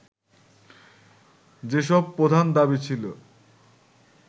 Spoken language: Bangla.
যেসব প্রধান দাবি ছিল